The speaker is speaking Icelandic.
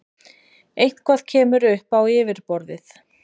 Eitthvað kemur upp á yfirborðið